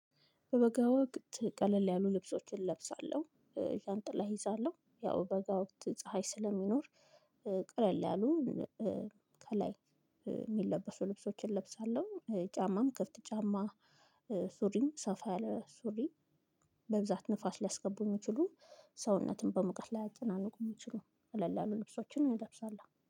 በበጋ ወቅት ቀለል ያሉ ልብሶችን ለብሳለሁ። ዣንጥላ እይዛለሁ ያው በጋ ወቅት ፀሀይ ስለሚኖር። ቀለል ያሉ ከላይ የሚለበሱ ልብሶችን እለብሳለሁ። ጫማም ከፍት ጫማ። ሱሪም ሰፋ ያለ ሱሪ። በብዛት ንፋስ ሊያስገቡ የሚችሉ ሰውነትን በሙቀት ላያጨናንቁ ሚችሉ ቀለል ያሉ ልብሶችን እለብሳለው